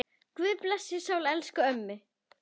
Guð blessi sál elsku ömmu.